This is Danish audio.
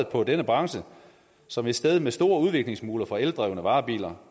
på denne branche som et sted med store udviklingsmuligheder for eldrevne varebiler